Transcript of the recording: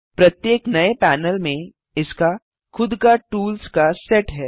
प्रत्येक नये पैनल में इसका खुद का टूल्स का सेट है